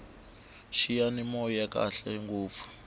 xiyani moya xa khale ngopfu